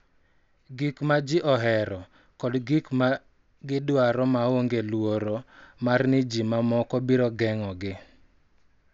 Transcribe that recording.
Gik ma ji ohero, kod gik ma gidwaro maonge luoro mar ni ji mamoko biro geng�ogi.